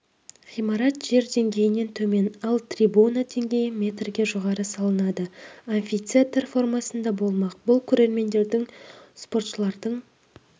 ғимарат жер деңгейінен төмен ал трибуна деңгейі метрге жоғары салынады амфитетар формасында болмақ бұл көрермендердің спортшылардың